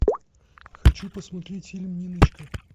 хочу посмотреть фильм ниночка